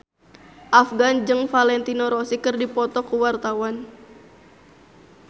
Afgan jeung Valentino Rossi keur dipoto ku wartawan